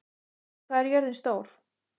Kiddi, hvað er jörðin stór?